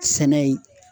Sɛnɛ ye